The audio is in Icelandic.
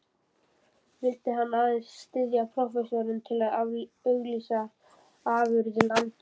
Vildi hann aðeins styðja prófessorinn til að auglýsa afurðir landsins?